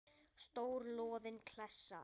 Stór loðin klessa.